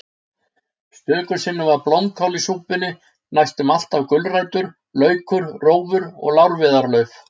Stöku sinnum var blómkál í súpunni, næstum alltaf gulrætur, laukur, rófur og lárviðarlauf.